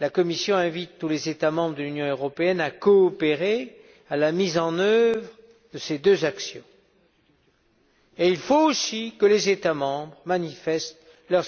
La Commission invite tous les États membres de l'Union européenne à coopérer à la mise en œuvre de ces deux actions. Il faut aussi que les États membres manifestent leur